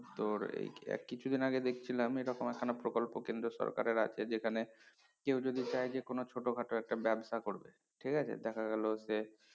তোর এই আহ কিছুদিন আগে দেখছিলাম এরকম একখানা প্রকল্প কেন্দ্র সরকারের আছে যেখানে কেউ যদি চায় কোনো ছোটখাট একটা ব্যবসা করবে ঠিকাছে দেখা গেলো যে